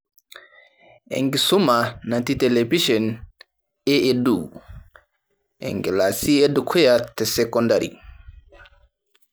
Enkisuma natii televishen e EDU , enkilasi edukuya tesekondari